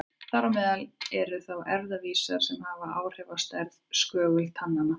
Þar á meðal eru þá erfðavísar sem hafa áhrif á stærð skögultanna.